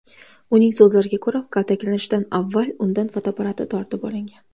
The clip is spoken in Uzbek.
Uning so‘zlariga ko‘ra, kaltaklanishdan avval undan fotoapparati tortib olingan.